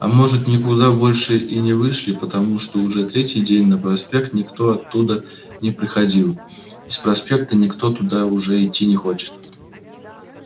а может никуда больше и не вышли потому что уже третий день на проспект никто оттуда не приходил и с проспекта никто туда уже идти не хочет